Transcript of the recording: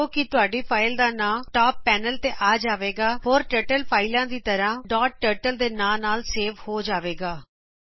ਹੁਣ ਨੋਟ ਕਰੋ ਕੀ ਤੁਹਾਡੀ ਫਾਇਲ ਦਾ ਨਾਂ ਟਾਪ ਪੈਨਲ ਤੇ ਆ ਜਾਵੇਗਾ ਅਤੇ ਇਹ ਹੋਰ ਟਰਟਲ ਫਾਈਲਾ ਦਾ ਤਰਹ ਡਾਟ ਟਰਟਲ ਦੇ ਨਾਂ ਨਾਲ ਸੇਵ ਹੋ ਜਾਵੇਗਾ